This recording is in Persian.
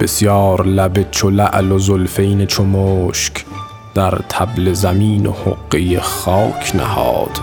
بسیار لب چو لعل و زلفین چو مشک در طبل زمین و حقه خاک نهاد